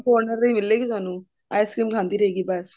corner ਤੇ ਹੀ ਮਿਲੇਗੀ ਤੁਹਾਨੂੰ ice cream ਖਾਂਦੀ ਰਹੇਗੀ ਬਸ